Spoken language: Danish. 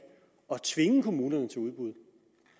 tvinge kommunerne til udbud